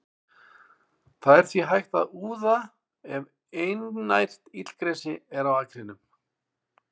Það er því hægt að úða ef einært illgresi er í akrinum.